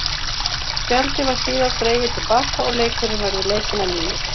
Spjaldið var síðar dregið til baka og leikurinn verður leikinn að nýju.